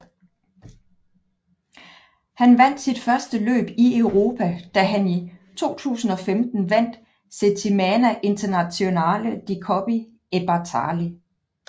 Han vandt sit første løb i Europa da han i 2015 vandt Settimana Internazionale di Coppi e Bartali